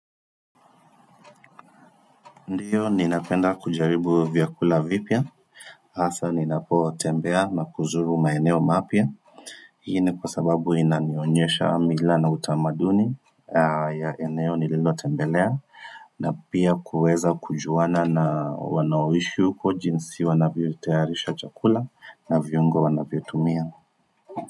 Ndiyo ninapenda kujaribu vyakula vipya hasa ninapotembea na kuzuru maeneo mapya hiii kwa sababu inanionyesha mila na utamaduni ya eneo nililotembelea na pia kuweza kujuana na wanaoishi huko jinsi wanavyo tayarisha chakula na vyungo wanavyo tumia.